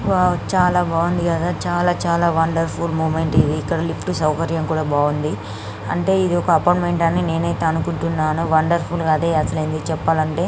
వో చాల బాగుంది కదా చాల చాల వండర్ఫుల్ మూమెంట్ ఇది ఇక్కడ లిఫ్ట్ సౌకర్యం కూడా బాగుంది అంటే ఏది అపార్ట్మెంట్ నేనూఐతే అనుకుంటున్న వండర్ఫుల్ గ అదే అసలైందేసి చెప్పాలంటే .